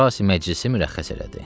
Əfrasi məclisi mürəxxəs elədi.